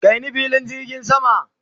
kai ni filin jirgin sama!